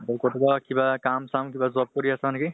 আৰু কতোবা কি কাম চাম কিবা job কৰি আছা নেকি?